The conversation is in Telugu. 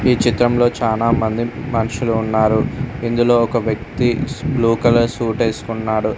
ఈ చిత్రంలో చాలా మంది మనుషులు ఉన్నారు ఇందులో ఒక వ్యక్తి బ్లూ కలర్ సూట్ వేసుకున్నారు.